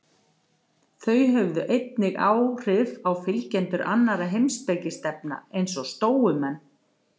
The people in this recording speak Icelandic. Þau höfðu einnig áhrif á fylgjendur annarra heimspekistefna, eins og stóumenn.